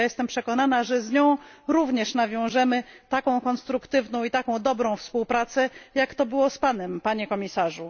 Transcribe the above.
I jestem przekonana, że z nią również nawiążemy tak konstruktywną i tak dobrą współpracę, jak to było z Panem, Panie Komisarzu.